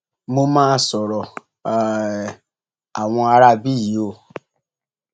mo mà sọrọ um àwọn aráabí yìí o